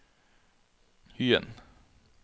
Hyen